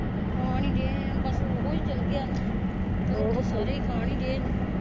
ਖਾਣ ਈ ਦਏ ਬ ਸ ਉਹ ਈ ਚਲ ਗਿਆ ਨਾ ਤੇ ਰੋਟੀ ਸਾਰੇ ਖਾਣ ਈ ਦਏ ਨੇ